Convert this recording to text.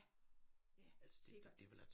Ja ja sikkert